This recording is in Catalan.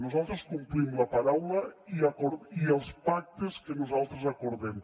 nosaltres complim la paraula i els pactes que nosaltres acordem